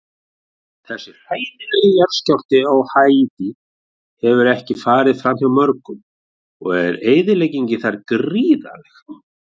Þessi hræðilegi jarðskjálfti á Haítí hefur ekki farið framhjá mörgum og er eyðileggingin þar gríðarleg.